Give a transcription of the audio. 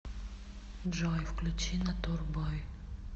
джой включи натур бой